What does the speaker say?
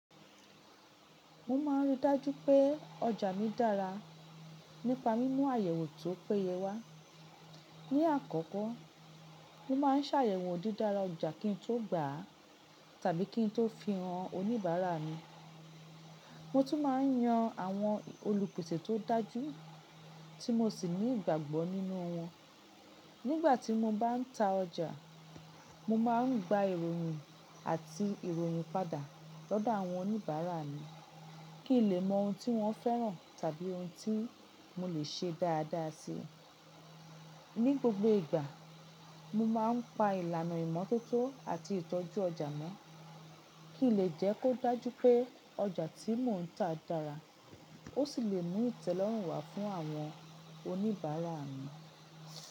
Mo máà ń rí i dájú pé ọjà mi dára nípa mímú àyẹ̀wò tí ó péye wá. Ni àkọ́kọ́, mo máà ń sààyẹ̀wò dídára ọjà kín tó gbà á tàbí kín tó fi hàn oníbàárà mi. Mo tún máà ń yan àwọn olùpèsè tó dájú tí mo sì ní ìgbàgbọ́ nínú wọn. Nígbà tí mo bá ń ta ọjà, mo máà ń gba ìròyìn àti ìròyìn padà lọ́dọ̀ àwọn oníbàárà mi kí n lè mọ ohun tí wọ́n fẹ́ràn tàbí ohun tí mo lè ṣe dáadáa si. Ni gbogbo ìgbà, mo máà ń pa ìlànà ìmọ́tótó àti ìtọ́jú ọjà mọ́ kí lè jẹ́ kó dájú pé ọjà tí mò ń ta dára ó sì lè mú ìtẹ́lọ́rùn wá fún àwọn oníbàárà mi.